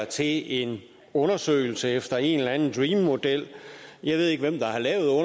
til en undersøgelse efter en eller anden dream model jeg ved ikke hvem der